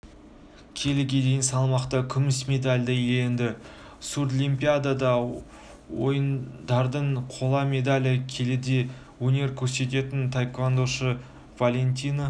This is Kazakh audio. келіге дейін салмақта күміс медаль иеленді сурдлимпиада ойындарының қола медалі келіде өнер көрсететін таеквондошы валентина